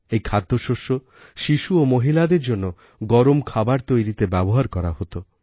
এই খাদ্যশস্য শিশু ও মহিলাদের জন্য গরম খাবার তৈরিতে ব্যবহার করা হত